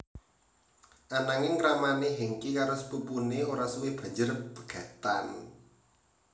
Ananging kramané Hengky karo sepupuné ora suwe banjur pegatan